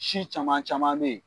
Si caman caman bɛ ye.